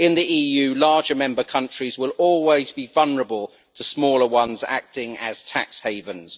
In the EU, larger member countries will always be vulnerable to smaller ones acting as tax havens.